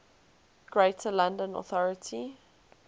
greater london authority